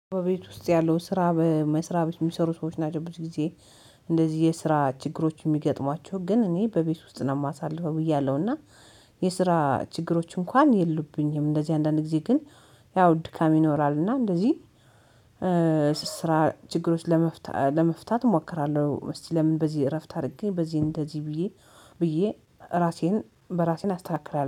በቤት ውስጥ ያለው ስራ በመስራት የሚሰሩ ሰዎች ናቸው ብዬ። እንደዚህ የስራ ችግሮች የሚገጥሟቸው ግን እኔ በቤት ውስጥ ነው የማሳልፈው ብዬ አለው። እና የስራ ችግሮች እንኳን የሉብኝም እንደዚህ አንዳንድ ጊዜ ግን ያው ድካም ይኖራል። እና እንደዚህ ስራ ችግሮች ለመፍታት እሞክራለሁ። እስቲ ለምን በዚህ እረፍት አድርጌ በዚህ እንደዚህ ብዬ ብዬ ራሴን በራሴን አስተካክራለሁ